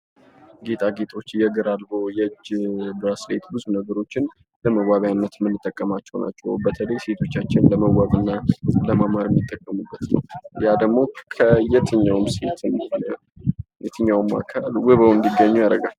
ጌጣጌጦች የእግር አልቦ፥ የእጅ ባስሌት ብዙ ነገሮችን ለመዋቢነት የምንጠቀማቸው ናቸው ፤ በተለይ ሴቶቻችን ለመዋብና ለማማር የሚጠቀሙበት ነው። የትኛውም ሴት ወይም የትኛውም አካል ውብ ሆነው እንዲገኙ ያደርጋል።